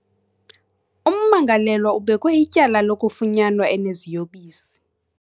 Ummangalelwa ubekwe ityala lokufunyanwa eneziyobisi.